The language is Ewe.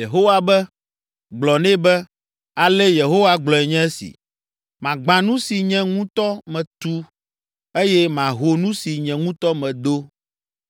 Yehowa be, “Gblɔ nɛ be, ‘Ale Yehowa gblɔe nye esi: Magbã nu si nye ŋutɔ metu eye maho nu si nye ŋutɔ medo,